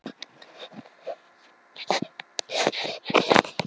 Fjölskyldan hafði sjaldnast efni á strandferðum.